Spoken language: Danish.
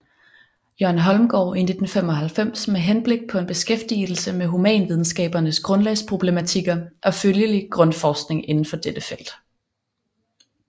Jørgen Holmgaard i 1995 med henblik på en beskæftigelse med humanvidenskabernes grundlagsproblematikker og følgelig grundforskning indenfor dette felt